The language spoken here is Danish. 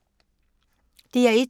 DR1